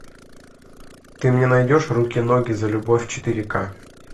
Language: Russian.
ты мне найдешь руки ноги за любовь четыре ка